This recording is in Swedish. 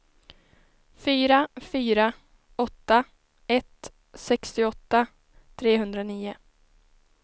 fyra fyra åtta ett sextioåtta trehundranio